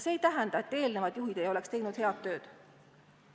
See ei tähenda, et eelnevad juhid ei oleks teinud head tööd.